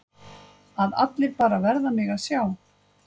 Að allir bara verða mig að sjá.